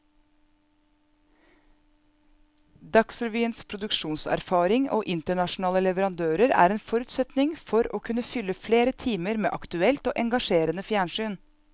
Dagsrevyens produksjonserfaring og internasjonale leverandører er en forutsetning for å kunne fylle flere timer med aktuelt og engasjerende fjernsyn.